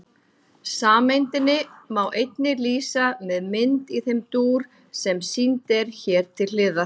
Sameindinni má einnig lýsa með mynd í þeim dúr sem sýnd er hér til hliðar.